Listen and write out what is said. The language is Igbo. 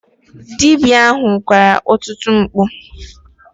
Dibia ahụ kwara ọtụtụ mkpu.